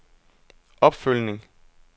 opfølgning